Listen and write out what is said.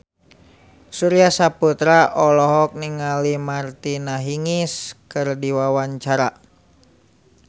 Surya Saputra olohok ningali Martina Hingis keur diwawancara